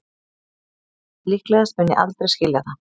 Líklegast mun ég aldrei skilja það